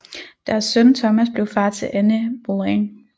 Deres søn Thomas blev far til Anne Boleyn